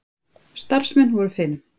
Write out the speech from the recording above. Starfsmenn voru fimm